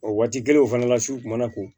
O waati kelen o fana la su kun mana ko